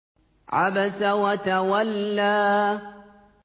عَبَسَ وَتَوَلَّىٰ